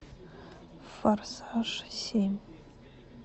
форсаж семь